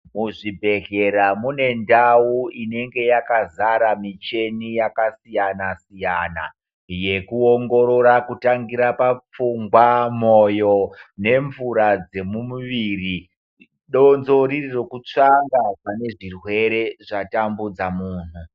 Muzvibhedhlera mune ndau inenge yakazara michini yakasiyana-siyana, yekuongorora kutangira papfungwa, moyo nemvura dzemumuviri, donzvo riri rekutsvanga pane zvirwere zvatambudza munhu.